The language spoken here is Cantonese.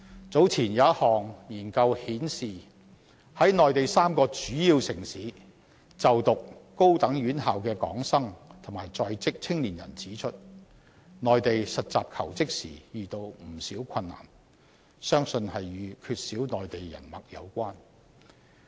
早前有一項研究顯示，在內地3個主要城市就讀高等院校的港生及在職青年人指出，在內地實習求職時遇到不少困難，相信與缺少內地人脈有關。